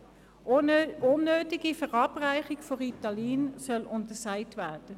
Die unnötige Verabreichung von Ritalin soll untersagt werden.